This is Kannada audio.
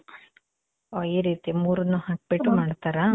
ಓ, ಈ ರೀತಿ ಮೂರುನ್ನು ಹಾಕ್ಬಿಟ್ಟು ಮಾಡ್ತಾರಾ?